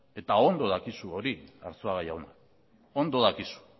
eta ondo dakizu hori arzuaga jauna ondo dakizu